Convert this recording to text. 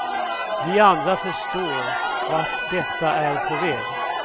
Vi andra förstår vart detta är på väg.